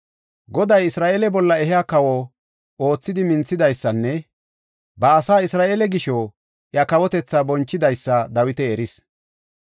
Goday Isra7eele bolla iya kawo oothidi minthidaysanne ba asaa Isra7eele gisho iya kawotethaa bonchidaysa Dawiti eris.